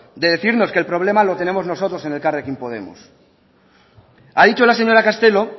de decirnos que el problema lo tenemos nosotros en elkarrekin podemos ha dicho la señora castelo